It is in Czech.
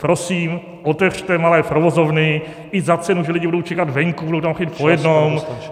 Prosím, otevřete malé provozovny i za cenu, že lidi budou čekat venku, budou tam chodit po jednom.